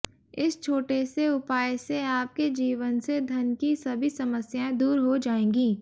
इस छोटे से उपाय से आपके जीवन से धन की सभी समस्यांए दूर हो जाएंगी